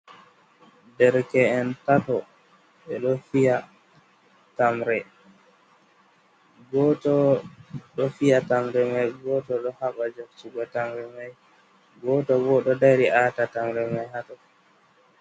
Dereke’en tato ɓe ɗo fiya tamre. Gooto ɗo fiya tamre may gooto ɗo haɓa jaɓtugo tamre may, gooto bo ɗo dari aata tamre may haa too.